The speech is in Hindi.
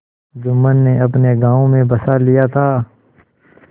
जुम्मन ने अपने गाँव में बसा लिया था